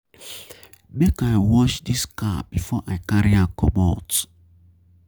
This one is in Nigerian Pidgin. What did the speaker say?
Make I wash dis car before I carry am comot.